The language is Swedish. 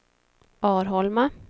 Arholma